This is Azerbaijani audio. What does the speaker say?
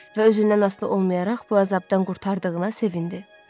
Və özündən asılı olmayaraq bu əzabdan qurtardığına sevindi.